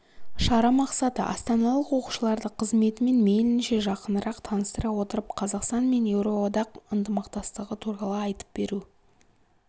шара мақсаты астаналық оқушыларды қызметімен мейлінше жақынырақ таныстыра отырып қазақстан мен еуроодақ ынтымақтастығы туралы айтып беру